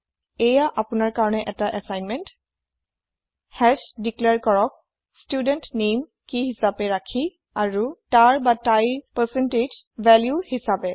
এইয়া আপোনাৰ কাৰণে এটা এচাইনমেন্ত হাশ দিক্লেৰ কৰক ষ্টুডেণ্ট নামে কি হিছাপে ৰাখি আৰু তাৰতাইৰ পাৰচেন্তেজ ভেল্যু হিছাপে